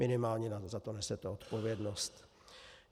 Minimálně za to nesete odpovědnost.